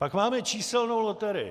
Pak máme číselnou loterii.